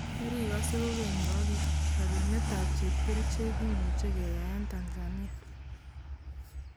Merikose kokeny yu ak yu:Rorunet tab chepkerichek kimuche keyaen Tanzania.